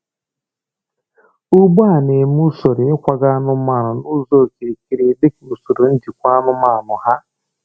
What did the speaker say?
Ugbo a na-eme usoro ịkwaga anụmanụ n’ụzọ okirikiri dị ka usoro njikwa anụmanụ ha.